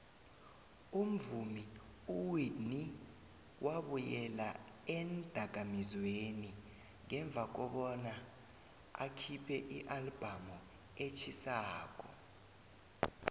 umvumi uwhitney wabuyela eendakamizweni ngemva kobana akhiphe ialbum etjhisako